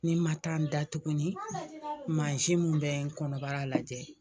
Ni n ma taa n da tuguni mun bɛ n kɔnɔbara lajɛ.